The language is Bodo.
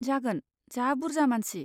जागोन, जा बुरजा मानसि।